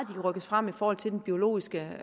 kan rykkes frem i forhold til den biologiske